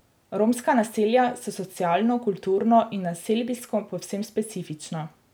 Romska naselja so socialno, kulturno in naselbinsko povsem specifična.